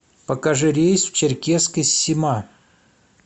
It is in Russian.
покажи рейс в черкесск из сима